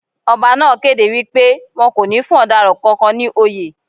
Ọba náà kéde wípé won kò ní fún ọ̀daràn kankan ní oyè.